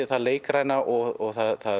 það leikræna og